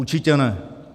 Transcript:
Určitě ne."